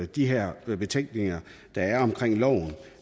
de her betænkeligheder der er